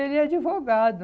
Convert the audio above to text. Ele é advogado.